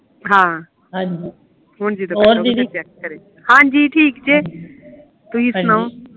ਹਾਂਜੀ ਹਹੁਂ ਜਦੋ ਆਉਣਗੀਆਂ ਫੇਰ ਚੈੱਕ ਕਰਿਓ ਹਾਂਜੀ ਠੀਕ ਜੇ ਤੁਹੀ ਸੁਣਾਓ